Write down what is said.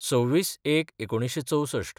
२६/०१/१९६४